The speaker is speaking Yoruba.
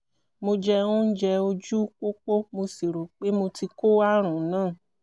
mo jẹ oúnjẹ ojú pópó mo sì rò pé mo ti kó àrùn náà